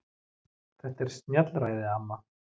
Þetta er snjallræði amma.